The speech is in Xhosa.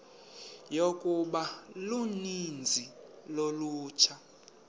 yokuba uninzi lolutsha